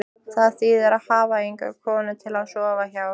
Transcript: Það þýðir að hafa enga konu til að sofa hjá.